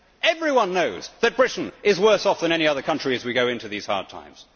Everyone knows that Britain is worse off than any other country as we go into these hard times.